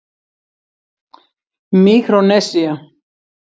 Míkrónesía